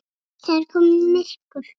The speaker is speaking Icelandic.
Það er komið myrkur.